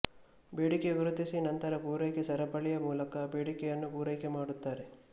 ಬೇಡಿಕೆ ಗುರುತಿಸಿ ನಂತರ ಪೂರೈಕೆ ಸರಪಳಿಯ ಮೂಲಕ ಬೇಡಿಕೆಯನ್ನು ಪೂರಕೆ ಮಾಡುತಾರೆ